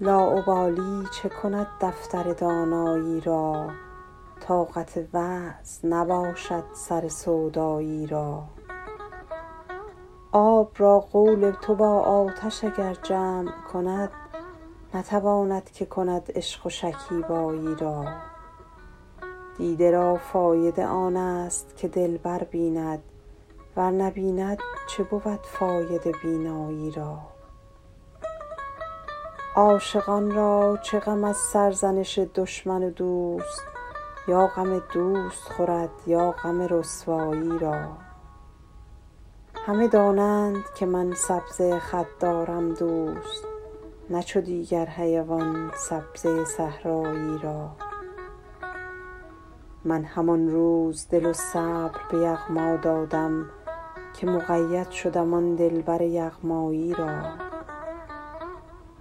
لاابالی چه کند دفتر دانایی را طاقت وعظ نباشد سر سودایی را آب را قول تو با آتش اگر جمع کند نتواند که کند عشق و شکیبایی را دیده را فایده آن است که دلبر بیند ور نبیند چه بود فایده بینایی را عاشقان را چه غم از سرزنش دشمن و دوست یا غم دوست خورد یا غم رسوایی را همه دانند که من سبزه خط دارم دوست نه چو دیگر حیوان سبزه صحرایی را من همان روز دل و صبر به یغما دادم که مقید شدم آن دلبر یغمایی را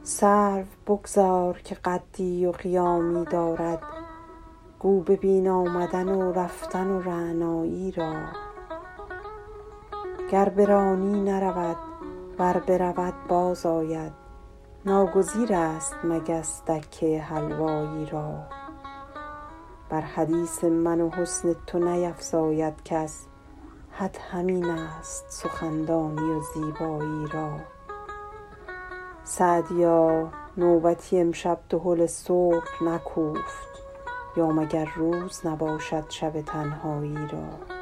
سرو بگذار که قدی و قیامی دارد گو ببین آمدن و رفتن رعنایی را گر برانی نرود ور برود باز آید ناگزیر است مگس دکه حلوایی را بر حدیث من و حسن تو نیفزاید کس حد همین است سخندانی و زیبایی را سعدیا نوبتی امشب دهل صبح نکوفت یا مگر روز نباشد شب تنهایی را